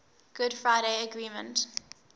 good friday agreement